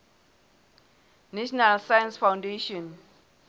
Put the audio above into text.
national science foundation